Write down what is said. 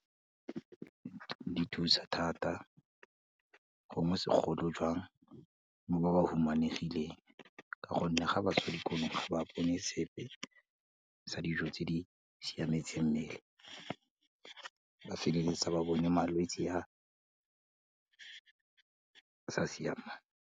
Di thusa thata, gongwe segolojang mo ba ba humanegileng, ka gonne ga ba sa ye dikolong ga ba bone sepe sa dijo tse di siametse mmele, ba feleletsa ba bone malwetsi a sa siamang.